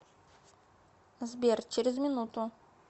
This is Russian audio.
сбер через минуту